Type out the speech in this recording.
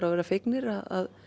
að vera fegnir að